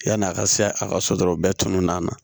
Yann'a ka se a ka so dɔrɔnw bɛɛ tunu na